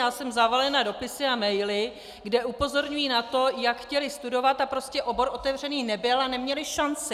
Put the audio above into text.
Já jsem zavalena dopisy a maily, kde upozorňují na to, jak chtěli studovat a prostě obor otevřený nebyl a neměli šanci.